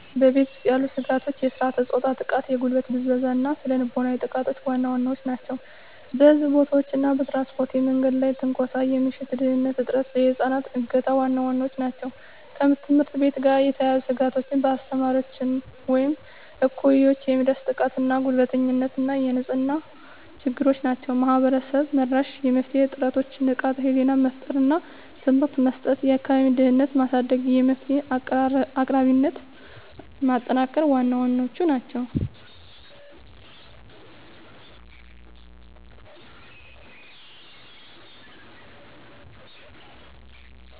በቤት ውስጥ ያሉ ስጋቶች የሥርዓተ-ፆታ ጥቃ፣ የጉልበት ብዝበዛ እና ስነ ልቦናዊ ጥቃቶች ዋና ዋናዎቹ ናቸው። በሕዝብ ቦታዎች እና በትራንስፖርት የመንገድ ላይ ትንኮሳ፣ የምሽት ደህንንነት እጥረት፣ የህፃናት እገታ ዋና ዋናዎቹ ናቸው። ከትምህርት ቤት ጋር የተያያዙ ስጋቶች በአስተማሪዎች ወይም እኩዮች የሚደርስ ጥቃትና ጉልበተኝነት እና የንጽህና ችግሮች ናቸው። ማህበረሰብ-መራሽ የመፍትሄ ጥረቶች ንቃተ ህሊና መፍጠር እና ትምህርት መስጠት፣ የአካባቢ ደህንነትን ማሳደግ፣ የመፍትሄ አቅራቢነትን ማጠናከር ዋና ዋናዎቹ ናቸው።